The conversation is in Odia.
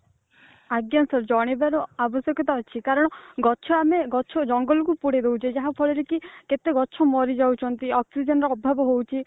ଆଜ୍ଞା sir ଜଣେଇବାର ଆବଶ୍ୟକତା ଅଛି କାରଣ ଗଛ ଆମେ ଗଛ ଜଙ୍ଗଲ କୁ ପୋଡି ଦଉଛେ ଯାହା ଫଳରେ କି କେତେ ଗଛ ମରିଯାଉଛନ୍ତ୍ତି oxygen ର ଅଭାବ ହଉଛି